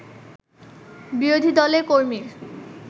বিরোধী দলের কর্মীর